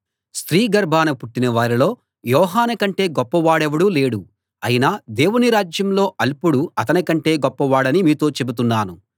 స్త్రీ గర్భాన పుట్టిన వారిలో యోహాను కంటే గొప్పవాడెవడూ లేడు అయినా దేవుని రాజ్యంలో అల్పుడు అతని కంటే గొప్పవాడని మీతో చెబుతున్నాను